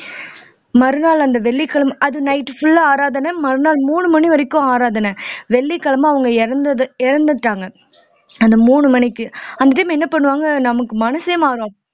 மறுநாள் அந்த வெள்ளிக்கிழமை அது night full ஆ ஆராதனை மறுநாள் மூணு மணி வரைக்கும் ஆராதனை வெள்ளிக்கிழமை அவங்க இறந்தது இறந்துட்டாங்க அந்த மூணு மணிக்கு அந்த time என்ன பண்ணுவாங்க நமக்கு மனசே மாறும்